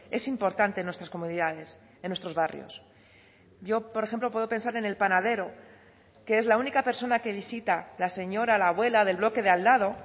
es importante en nuestras comunidades en nuestros barrios yo por ejemplo puedo pensar en el panadero que es la única persona que visita la señora la abuela del bloque de al lado